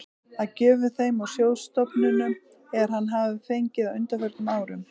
af gjöfum þeim og sjóðstofnunum, er hann hefir fengið á undanförnum árum.